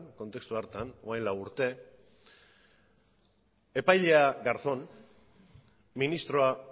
orain dela lau urte epailea garzón ministroa